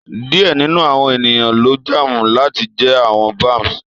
Diẹ ninu awọn eniyan lo jaamu lati jẹ awọn beams